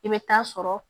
I bɛ taa sɔrɔ